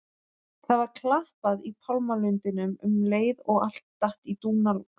Það var klappað í pálmalundinum um leið og allt datt í dúnalogn.